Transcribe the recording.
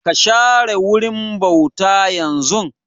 Ka share wurin bauta yanzun!